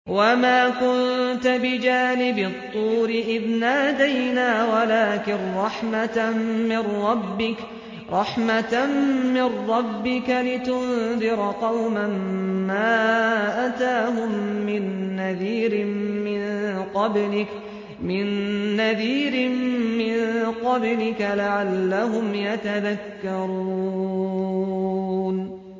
وَمَا كُنتَ بِجَانِبِ الطُّورِ إِذْ نَادَيْنَا وَلَٰكِن رَّحْمَةً مِّن رَّبِّكَ لِتُنذِرَ قَوْمًا مَّا أَتَاهُم مِّن نَّذِيرٍ مِّن قَبْلِكَ لَعَلَّهُمْ يَتَذَكَّرُونَ